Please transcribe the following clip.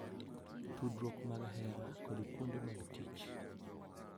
Tudruok mag hera, kod kuonde mag tich.